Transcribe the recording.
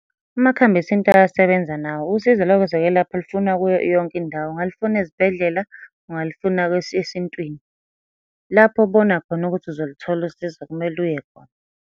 Amakhambi esintu ayasebenza nawo, usizo lokwezokwelapha lufuna kuyo yonke indawo. Ungalufuna ezibhedlela, ungalufuna esintwini. Lapho obona khona ukuthi uzoluthola usizo kumele uye khona.